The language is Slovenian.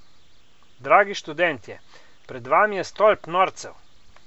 Dragi študentje, pred vami je stolp norcev!